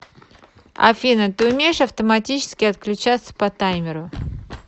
афина ты умеешь автоматически отключаться по таймеру